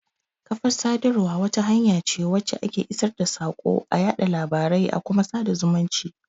Kafar sadarwa wata hanya ce wacce ake isar da saƙo,a yaɗa labarai a kuma sada zumunci.